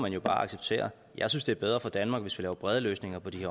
jo bare acceptere jeg synes det er bedre for danmark hvis vi laver brede løsninger på de